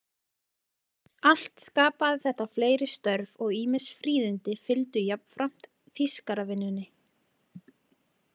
Allt skapaði þetta fleiri störf og ýmis fríðindi fylgdu jafnframt þýskaravinnunni.